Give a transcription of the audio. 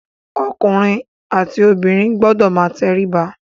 Ọkùnrin àti obìnrin gbọdọ̀ máa tẹríba.